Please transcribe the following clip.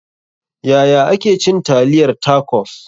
Yaya ake cin taliyar tacos?